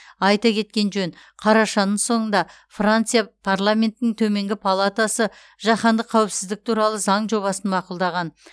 айта кеткен жөн қарашаның соңында франция парламентінің төменгі палатасы жаһандық қауіпсіздік туралы заң жобасын мақұлдаған